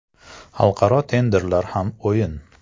Xalqaro tenderlar ham o‘yin.